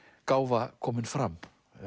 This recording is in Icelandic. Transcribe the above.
gáfa komin fram